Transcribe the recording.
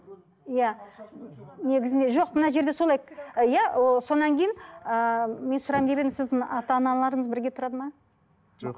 иә негізінде жоқ мына жерде солай иә ы содан кейін ыыы мен сұрайын деп едім сіздің ата аналарыңыз бірге тұрады ма жоқ